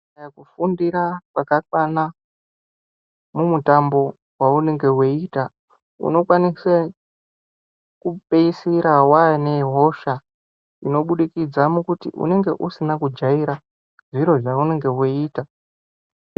Kufundira kwakakwana mumutambo maunenge uchiita unokwanisa kupeisira wane hosha inobudikidza mukuti unenge usina kujaira zviro zvaunenge weita.